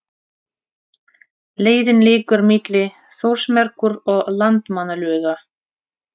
Leiðin liggur milli Þórsmerkur og Landmannalauga.